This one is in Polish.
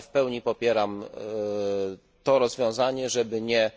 W pełni jednak popieram rozwiązanie, żeby nie